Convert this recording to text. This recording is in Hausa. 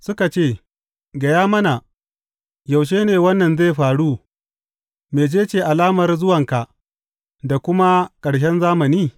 Suka ce, Gaya mana, yaushe ne wannan zai faru, mece ce alamar zuwanka da kuma ta ƙarshen zamani?